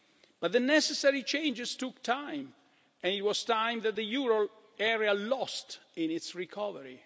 But the necessary changes took time and it was time that the euro area lost in its recovery.